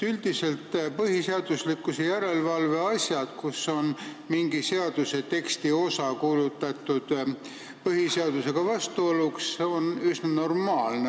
Üldiselt on põhiseaduslikkuse järelevalve asjad, mille puhul on mingi seaduseteksti osa kuulutatud põhiseadusega vastuoluks, üsna normaalsed.